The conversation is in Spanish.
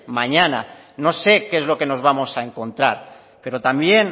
mañana no sé qué es lo que nos vamos a encontrar pero también